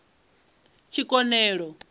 tshikonelo